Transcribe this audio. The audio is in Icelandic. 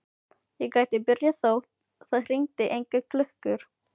Ég get byrjað þótt það hringi engar klukkur.